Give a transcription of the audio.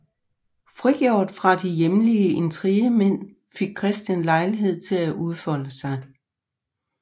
Frigjort fra de hjemlige intrigemænd fik Christian lejlighed til at udfolde sig